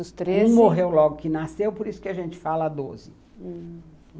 Os treze... Um morreu logo que nasceu, por isso que a gente fala doze. Hum